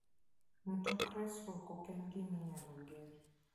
Mtok resruok ok en gima inyalo gen.